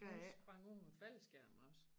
Hun sprang ud med faldskærm også